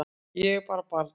Ég var bara barn